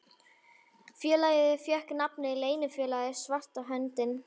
Félagið fékk nafnið Leynifélagið svarta höndin.